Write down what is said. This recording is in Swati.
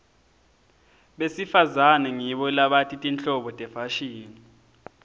besifazane ngibo labati tinhlobo tefashini